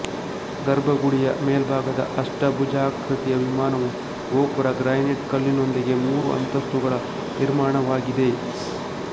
ಗರ್ಭ ಗುಡಿಯ ಮೇಲ್ಭಾಗದ ಅಷ್ಟಭುಜಾಕೃತಿಯವಿಮಾನವು ಗೋಪುರ ಗ್ರಾನೈಟ್ ಕಲ್ಲಿನೊಂದಿಗೆ ಮೂರುಅಂತಸ್ತುಗಳ ನಿರ್ಮಾಣವಾಗಿದೆ